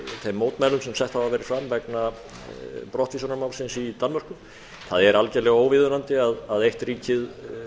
þeim mótmælum sem sett hafa verið fram vegna brottvísunarmálsins í danmörku það er algerlega óviðunandi að eitt ríkið